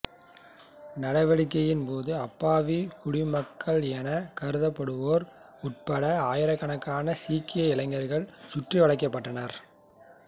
நடவடிக்கையின்போது அப்பாவி குடிமக்கள் எனக் கருதப்படுவோர் உட்பட ஆயிரக் கணக்கான சீக்கிய இளைஞர்கள் சுற்றிவளைக்கப்பட்டனர்